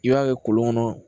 I b'a kɛ kolon kɔnɔ